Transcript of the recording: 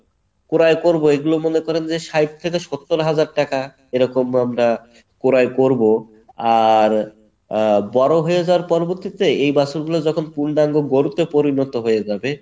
ক্রয় করবো এগুলা মনে করেন যে ষাইট থেকে সত্তর হাজার টাকা এরকম আমরা ক্রয় করবো আর আহ বড়ো হয়ে যাওয়ার পরবর্তীতে এই বাছুরগুলা যখন পূর্ণাঙ্গ গরুতে পরিণত হয়ে যাবে